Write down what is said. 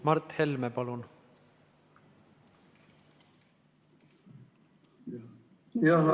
Mart Helme, palun!